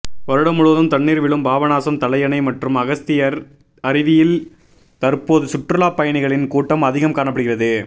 வருடம் முழுவதும் தண்ணீர் விழும் பாபநாசம் தலையணை மற்றும் அகஸ்தியர் அருவியில் தற்போது சுற்றுலா பயணிகளின் கூட்டம் அதிகம் காணப்படுகிறது